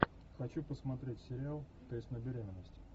хочу посмотреть сериал тест на беременность